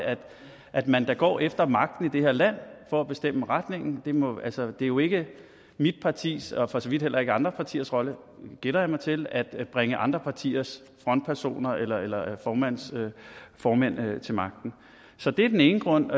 at man da går efter magten i det her land for at bestemme retningen altså det er jo ikke mit partis og for så vidt heller ikke andre partiers rolle gætter jeg mig til at bringe andre partiers frontpersoner eller eller formænd til magten så det er den ene grund